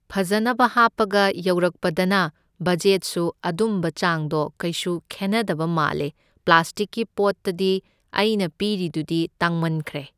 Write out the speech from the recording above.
ꯐꯖꯅꯕ ꯍꯥꯞꯄꯒ ꯌꯧꯔꯛꯄꯗꯅ ꯕꯖꯦꯠꯁꯨ ꯑꯗꯨꯝꯕ ꯆꯥꯡꯗꯣ ꯀꯩꯁꯨ ꯈꯦꯟꯅꯗꯕꯅ ꯃꯥꯜꯂꯦ ꯄ꯭ꯂꯥꯁꯇꯤꯛꯀꯤ ꯄꯣꯠꯇꯗꯤ ꯑꯩꯅ ꯄꯤꯔꯤꯗꯨꯗꯤ ꯇꯥꯡꯃꯟꯈ꯭ꯔꯦ